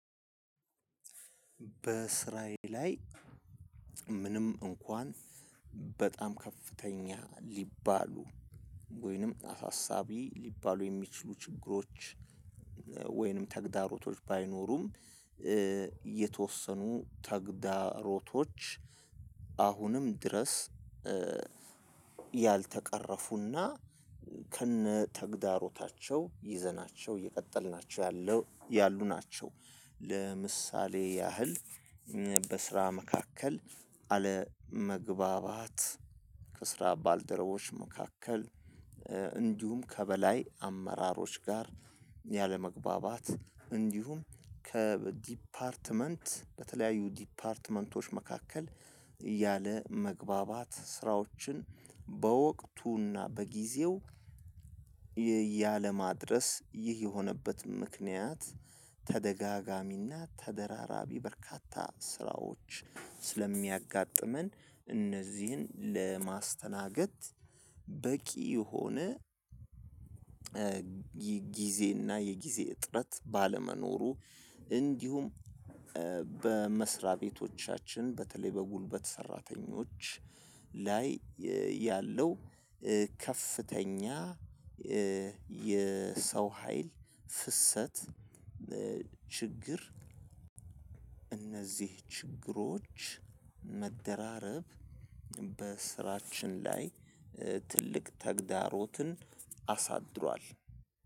በስራዬ ላይ ምንም እንኳን በጣም ከፍተኛ ልበሉ ወይም አሳሰብ ልበሉ የምችሉ ችግሮች ወይንም ተግዳሮቶች ባይኖሩም የተወሰኑ ተግዳሮቶች አሁንም ድረስ ያልተቀረፉና ከተግዳሮታቸው ይዘናቸው፥ የቀጠልናቸው ያሉ ናቸው። ለምሳሌ ያህል በስራ መካከል አለመግባባት ከስራ ባልደረቦች መካከል እንደሁም ከበለይ አመራሮች ጋር ያለመግባባት እንድሁም ከድፓሪትሜንት በተለየ ዲፓሪትሜንቶች መካከል ያለመግባባት ስራዎችን በወቅቱና በጊዜው። ያለማድረስ ይህ የሆነበት ምክንያት ተደጋጋሚና ተደራራቢ በርካታ ስራዎች ስለሚያጋጥመን እነዚህን ለማስተናገድ በቂ የሆነ ጊዜ እና የጊዜ እጥረት ባለመኖሩ ባለመኖሩ። በመስሪያ ቤቶቻችን በተለይ በጉልበት ሰራተኞች ላይ ያለው ከፍተኛ የሰው ሀይል ፍሰት ችግር። እነዚህ ችግሮች መደራረብ በስራችን ላይ ትልቅ ተግዳሮትን አሳድሯል።